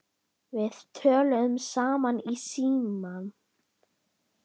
Við töluðum saman í síma.